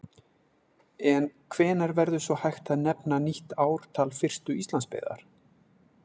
En hvenær verður svo hægt að nefna nýtt ártal fyrstu Íslandsbyggðar?